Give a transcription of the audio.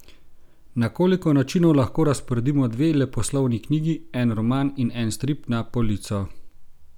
Na koliko načinov lahko razporedimo dve leposlovni knjigi, en roman in en strip na polico?